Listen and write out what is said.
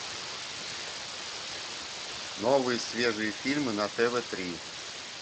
новые свежие фильмы на тв три